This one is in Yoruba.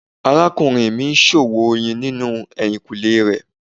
Arakunrin mi ṣọwọn oyin ninu ehinkunle rẹ